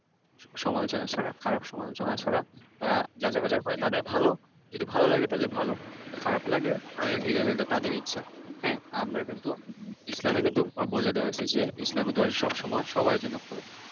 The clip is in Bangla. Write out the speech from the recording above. সমালোচনা ছাড়া, খারাপ সমালোচনা ছাড়া তারা যাচাই বাছাই করে তাদের ভালো, যদি ভালো লাগে তাহলে ভালো, খারাপ লাগলে তাহলে ঠিক আছে এটা তাদের ইচ্ছা। হ্যাঁ? আমরা কিন্তু ইসলামে কিন্তু বলে দেওয়া হইছে যে, ইসলামের দরজা সবসময় সবার জন্য খোলা।